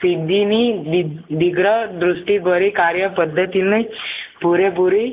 સિંધીની દી દીર્ઘ દ્રષ્ટિ ભરિક આર્ય પદ્ધતિને પુરે પુરી